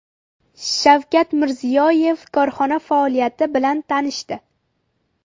Shavkat Mirziyoyev korxona faoliyati bilan tanishdi.